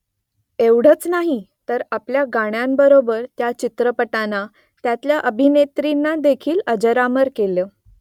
एवढंच नाही , तर आपल्या गाण्यांबरोबर त्या चित्रपटांना , त्यांतल्या अभिनेत्रींनादेखील अजरामर केलं